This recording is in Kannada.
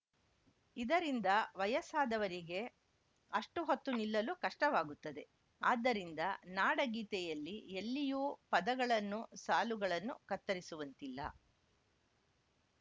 ಇದರಿಂದ ವಯಸ್ಸಾದವರಿಗೆ ಅಷ್ಟುಹೊತ್ತು ನಿಲ್ಲಲು ಕಷ್ಟವಾಗುತ್ತದೆ ಆದ್ದರಿಂದ ನಾಡಗೀತೆಯಲ್ಲಿ ಎಲ್ಲಿಯೂ ಪದಗಳನ್ನು ಸಾಲುಗಳನ್ನು ಕತ್ತರಿಸುವಂತಿಲ್ಲ